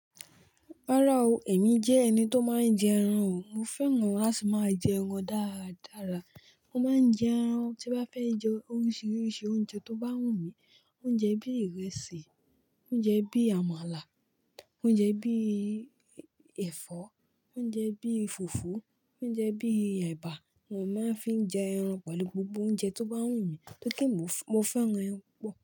Rárá o, èmi jẹ́ ẹni tó máa ń jẹ ẹran o. Mo feran lati maa jeran daradara. Mo máa ń jẹ ẹran, tí bá fẹ́ jẹ oríṣiríṣi oúnjẹ tó bá wù mí, oúnjẹ bí ìrẹsì, oúnjẹ bí àmàlà, oúnjẹ bí ẹ̀fọ́, oúnjẹ bí fùfú, oúnjẹ bí ẹ̀bà ni màá fi ń jẹ ẹran pẹ̀lú gbogbo oúnjẹ tó bá wù mí tó kí n mo fẹ́ràn ẹran púpọ̀